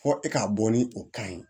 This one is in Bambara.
Fɔ e k'a bɔ ni o kan ye